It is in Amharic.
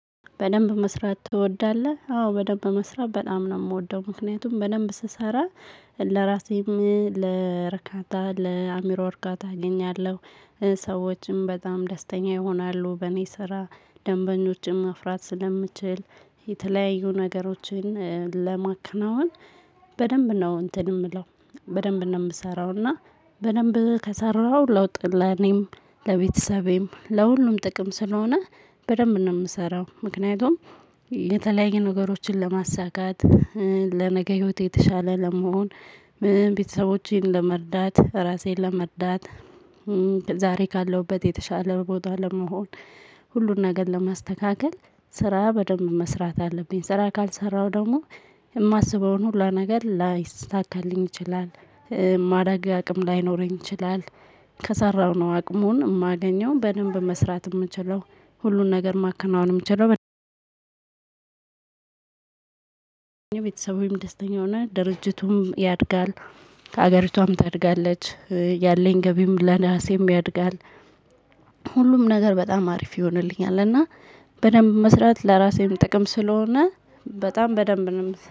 በደንብ መስራት ትወዳለህ አዎ በደንብ መስራት በጣም ነው የምወደው ምክንያቱም በደንብ ስሰራ ለራሴም ለረካታ ለአሚሮ እርካታ አገኛለሁ። ሰዎችም በጣም ደስተኛ ይሆናሉ በእኔ ስራ ደንበኞችን መፍራት ስለምችል የተለያዩ ነገሮችን ለማከናወን። በደንብ ነው እንትን የምለው በደንብ ነው የምሰራው። እና በደንብ ከሰራው ለውጥ ለኔም ለቤተሰቤም ለሁሉም ጥቅም ስለሆነ በደንብ ነው የምሰራው። ምክንያቱም የተለያየ ነገሮችን ለማሳካት ለነገ ህይወት የተሻለ ለመሆን። ቤተሰቦቼን ለመርዳት ራሴን ለመርዳት። ዛሬ ካለሁበት የተሻለ ቦታ ለመሆን። ሁሉን ነገር ለማስተካከል ስራ በደንብ መስራት አለብኝ። ስራ ካልሰራው ደግሞ የማስበውን ሁሉ ነገር ላይሳካልኝ ይችላል። ማዳጊ አቅም ላይኖረኝ ይችላል። ከሰራው ነው አቅሙን የማገኘው በደንብ መስራት የምችለው። ሁሉን ነገር ማከናወን የምችለው። የቤተሰብም ደስተኛ ሆና ድርጅቱም ያድጋል። ከሀገሪቷም ታድጋለች ያለኝ ገቢም ለራሴም ያድጋል። ሁሉም ነገር በጣም አሪፍ ይሆንልኛል። እና በደንብ መስራት ለራሴም ጥቅም ስለሆነ በጣም በደንብ ነው